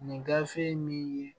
Nin gafe min ye